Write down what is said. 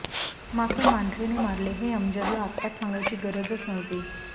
मात्र मांढरेने मारले हे अमजदला आत्ताच सांगायची गरजच नव्हती